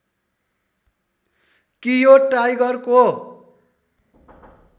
कि यो टाइगरको